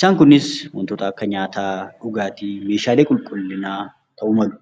Isaan kunis waantota akka nyaataa, dhugaatii, Meeshaalee qulqulliinaa ta'uu malu.